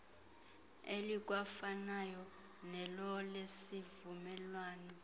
elikwafanayo nelo lesivumelwano